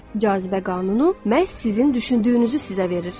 Cazibə qanunu məhz sizin düşündüyünüzü sizə verir.